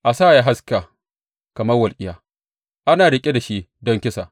A sa ya haska kamar walƙiya, ana riƙe da shi don kisa.